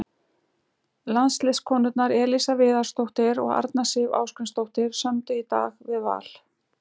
Landsliðskonurnar Elísa Viðarsdóttir og Arna Sif Ásgrímsdóttir sömdu í dag við Val.